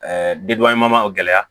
o gɛlɛya